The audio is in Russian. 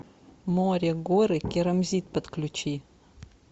море горы керамзит подключи